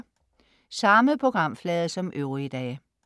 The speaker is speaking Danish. Samme programflade som øvrige dage